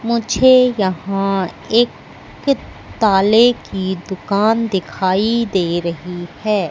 मुझे यहां एक कित्तालय दुकान दिखाई दे रहीं है।